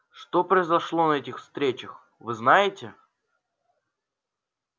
что произошло на этих встречах вы знаете